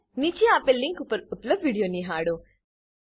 નીચે આપેલ લીંક પર ઉપલબ્ધ વિડીયો નિહાળો